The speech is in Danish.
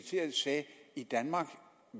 i danmark